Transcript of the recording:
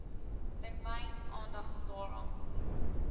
termyn aandag daaraan